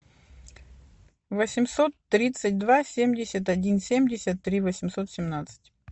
восемьсот тридцать два семьдесят один семьдесят три восемьсот семнадцать